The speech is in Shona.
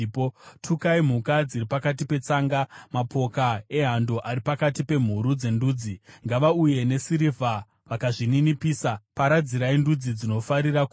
Tukai mhuka dziri pakati petsanga, mapoka ehando ari pakati pemhuru dzendudzi. Ngavauye nesirivha, vakazvininipisa. Paradzirai ndudzi dzinofarira kurwa.